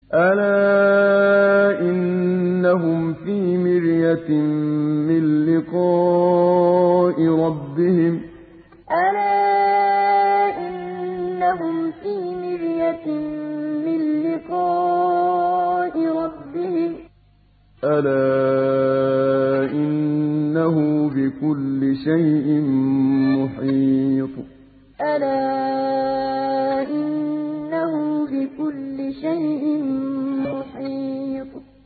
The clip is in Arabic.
أَلَا إِنَّهُمْ فِي مِرْيَةٍ مِّن لِّقَاءِ رَبِّهِمْ ۗ أَلَا إِنَّهُ بِكُلِّ شَيْءٍ مُّحِيطٌ أَلَا إِنَّهُمْ فِي مِرْيَةٍ مِّن لِّقَاءِ رَبِّهِمْ ۗ أَلَا إِنَّهُ بِكُلِّ شَيْءٍ مُّحِيطٌ